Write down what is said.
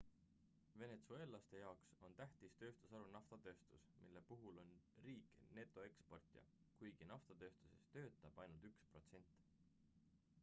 venetsueellaste jaoks on tähtis tööstusharu naftatööstus mille puhul on riik netoeksportija kuigi naftatööstuses töötab ainult üks protsent